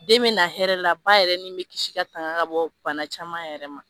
Den bi na hɛrɛ la baa yɛrɛ nin be kisi ka tanga ka bɔ bana caman yɛrɛ ma